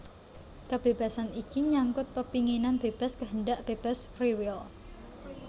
Kebébasan iki nyangkut pepinginan bébas kehendak bebas free will